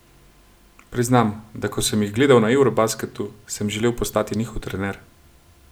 Priznam, da ko sem jih gledal na eurobasketu, sem želel postati njihov trener.